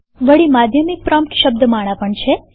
વળી માધ્યમિક પ્રોમ્પ્ટ શબ્દમાળા પણ છે